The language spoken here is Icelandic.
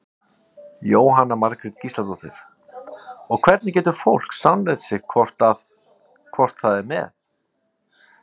Jóhanna Margrét Gísladóttir: Og hvernig getur fólk sannreynt sig hvort að, hvort það er með?